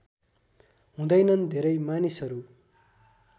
हुँदैनन् धेरै मानिसहरू